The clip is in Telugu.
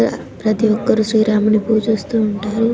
ఆ ప్రతి ఒక్కరూ శ్రీ రాముని పూజిస్తూ ఉంటారు.